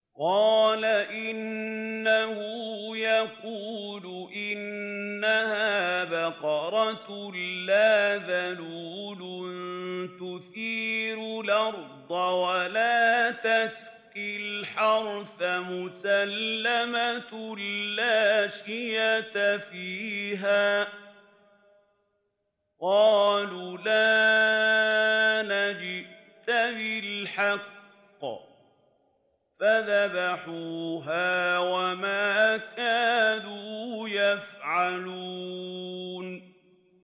قَالَ إِنَّهُ يَقُولُ إِنَّهَا بَقَرَةٌ لَّا ذَلُولٌ تُثِيرُ الْأَرْضَ وَلَا تَسْقِي الْحَرْثَ مُسَلَّمَةٌ لَّا شِيَةَ فِيهَا ۚ قَالُوا الْآنَ جِئْتَ بِالْحَقِّ ۚ فَذَبَحُوهَا وَمَا كَادُوا يَفْعَلُونَ